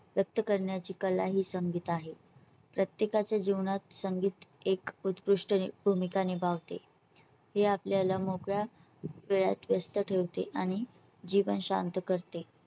व्यक्त करण्याची कला हि संगीत आहे प्रत्येकच्या जीवनात संगीत एक उत्कृष्ट भूमिका निभावते हे आपल्याला मोकळा वेळात व्यस्त ठेवते आणि जीवन शांत करते.